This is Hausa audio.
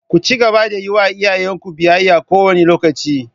Ku cigaba da yi wa iyayen ku biyayya kowane lokaci!